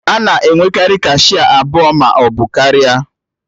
A na-enwekarị kashịa abụọ maọbụ karịa